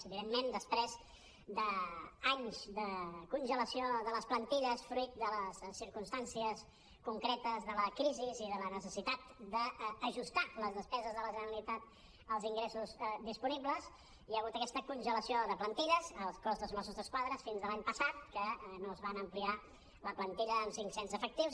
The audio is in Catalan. evidentment després d’anys de congelació de les plantilles fruit de les circumstàncies concretes de la crisi i de la necessitat d’ajustar les despeses de la generalitat als ingressos disponibles hi ha hagut aquesta congelació de plantilles al cos de mossos d’esquadra fins a l’any passat que no se’n va ampliar la plantilla amb cinc cents efectius